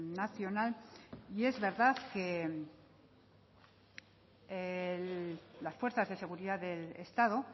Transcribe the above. nacional y es verdad que las fuerzas de seguridad del estado